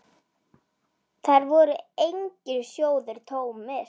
Þar voru engir sjóðir tómir.